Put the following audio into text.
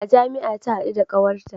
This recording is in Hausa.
A jami'a ta hadu da kawarta